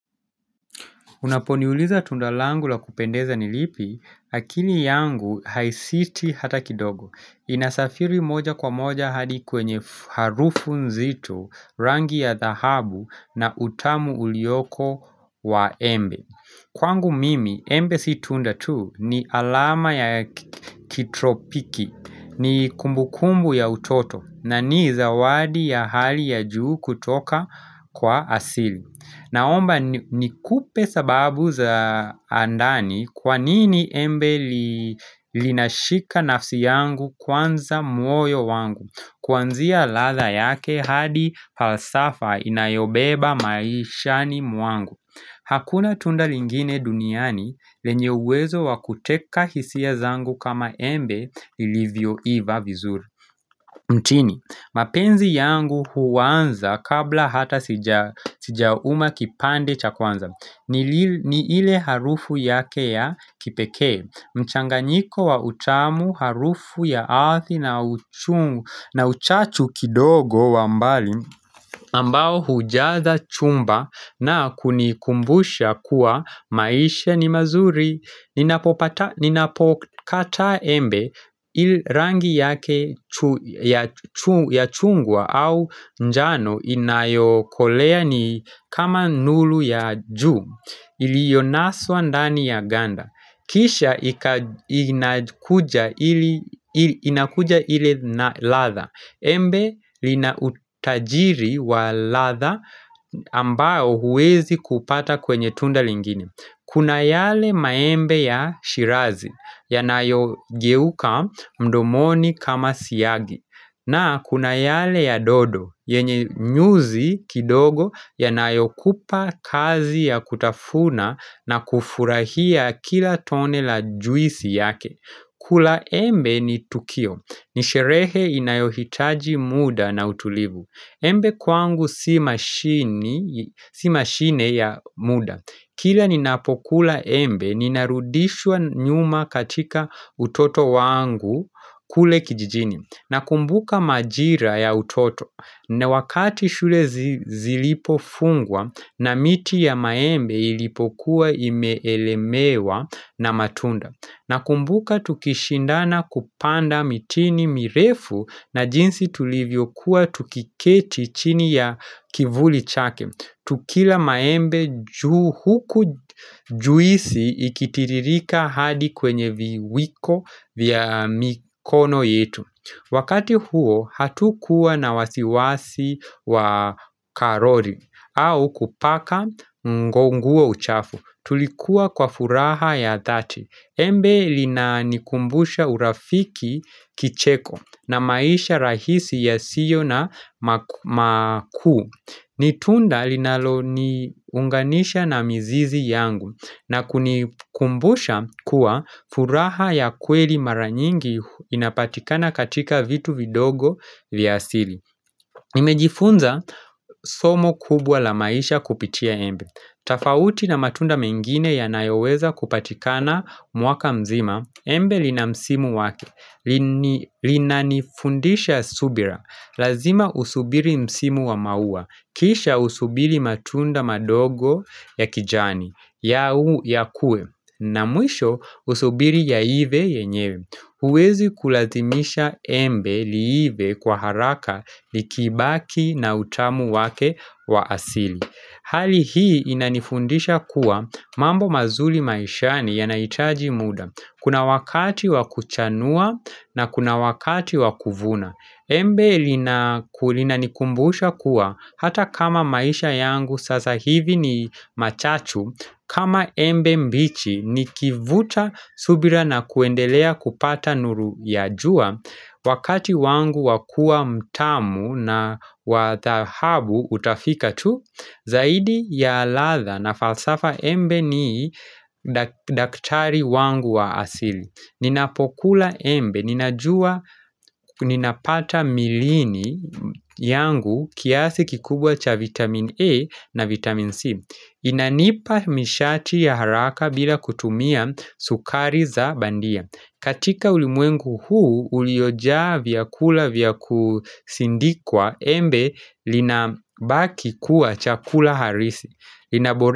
Unaponiuliza tunda langu la kupendeza nilipi? Akili yangu haisiti hata kidogo, inasafiri moja kwa moja hadi kwenye harufu nzito rangi ya dhahabu na utamu uliyoko wa embe. Kwangu mimi, embe si tunda tu ni alama ya kitropiki, ni kumbukumbu ya utoto na ni zawadi ya hali ya juu kutoka kwa asili. Naomba nikupe sababu za ndani kwanini embe linashika nafsi yangu kwanza moyo wangu. Kuanzia ladha yake hadi hasafa inayobeba maishani mwangu. Hakuna tunda lingine duniani lenye uwezo wakuteka hisia zangu kama embe ilivyo ivya vizuri mtini. Mapenzi yangu huanza kabla hata sijauma kipande cha kwanza ni ile harufu yake ya kipekee. Mchanganyiko wa utamu harufu ya ardhi na uchungu na uchachu kidogo wambali. Ambao hujaza chumba na kunikumbusha kuwa maisha ni mazuri, ninapopata ninapokata embe ili rangi yake ya chungwa au njano inayokolea ni kama nuru ya juu iliyonaswa ndani ya ganda. Kisha inakuja ili inakuja ile na ladha. Embe linautajiri wa ladha. Ambao huwezi kuupata kwenye tunda lingine. Kuna yale maembe ya shirazi ya nayo geuka mdomoni kama siyagi. Na kuna yale ya dodo yenye nyuzi kidogo ya nayokupa kazi ya kutafuna na kufurahia kila tone la juisi yake. Kula embe ni tukio. Nisherehe inayohitaji muda na utulivu. Embe kwangu si mashine si mashine ya muda. Kila ninapokula embe ninarudishwa nyuma katika utoto wangu kule kijijini. Nakumbuka majira ya utoto na wakati shule zilipofungwa na miti ya maembe ilipokuwa imeelemewa na matunda. Nakumbuka tukishindana kupanda mitini mirefu na jinsi tulivyo kuwa tukiketi chini ya kivuli chake. Tukila maembe juu huku juisi ikitiririka hadi kwenye viwiko vya mikono yetu. Wakati huo hatukuwa na wasiwasi wa karoli au kupaka nguo uchafu. Tulikuwa kwa furaha ya dhati. Embe linanikumbusha urafiki kicheko na maisha rahisi yasiyo na makuu ni tunda linalo ni unganisha na mzizi yangu na kunikumbusha kuwa furaha ya kweli mara nyingi inapatikana katika vitu vidogo vyasili. Nimejifunza somo kubwa la maisha kupitia embe. Tafauti na matunda mengine ya nayoweza kupatikana mwaka mzima, embe linamsimo wake, linanifundisha subira. Lazima usubiri msimu wa maua, kisha usubiri matunda madogo ya kijani, ya huu ya kue, tafauti na matunda mengine ya nayoweza kupatikana mwaka mzima, embe linamsimo wake, linanifundisha subira. Hali hii inanifundisha kuwa mambo mazuri maishani yanahitaji muda, kuna wakati wakuchanua na kuna wakati wakuvuna. Embe lina linanikumbusha kuwa hata kama maisha yangu sasa hivi ni machachu kama embe mbichi ni kivuta subira na kuendelea kupata nuru ya jua wakati wangu wakua mtamu na wathahabu utafika tu. Zaidi ya ladha na falsafa embe ni daktari wangu wa asili. Ninapokula embe, ninajua ninapata milini yangu kiasi kikubwa cha vitamin A na vitamin C. Inanipa nishati ya haraka bila kutumia sukari za bandia. Katika ulimwengu huu, uliojaa vyakula vyakusindikwa embe linabaki kuwa cha kula harisi lina.